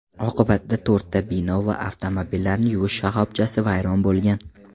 Oqibatda to‘rtta bino va avtomobillarni yuvish shoxobchasi vayron bo‘lgan.